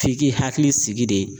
F'i k'i hakili sigi de.